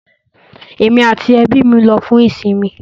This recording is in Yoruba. Emi ati ẹbi mi lọ fun isinmi